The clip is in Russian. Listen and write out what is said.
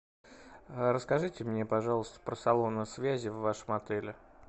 расскажите мне пожалуйста про салоны связи в вашем отеле